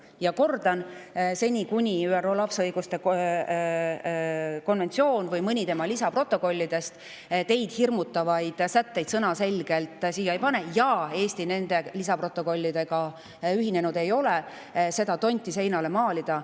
Ja kordan: seni, kuni ÜRO lapse õiguste konventsioon või mõni selle lisaprotokollidest teid hirmutavaid sätteid sõnaselgelt siia kirja ei pane ja Eesti ei ole nende lisaprotokollidega ühinenud, ei ole mõtet seda tonti seinale maalida.